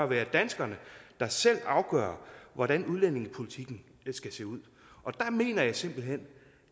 være danskerne der selv afgør hvordan udlændingepolitikken skal se ud der mener jeg simpelt hen